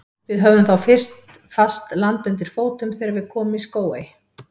Við höfðum þá fyrst fast land undir fótum þegar við komum í Skógey.